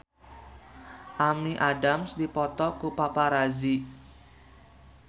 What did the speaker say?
Amy Adams dipoto ku paparazi